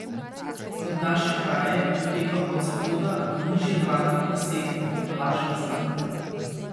Nad naše kraje doteka od zahoda v nižjih zračnih plasteh vlažen zrak.